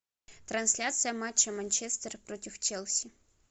трансляция матча манчестер против челси